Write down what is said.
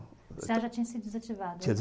O cê a já tinha se desativado? tinha desa